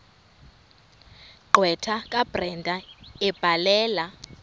gqwetha kabrenda ebhalela